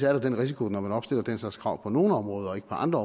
er der den risiko når man opstiller den slags krav på nogle områder og ikke på andre